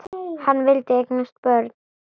Hann vildi eignast börn.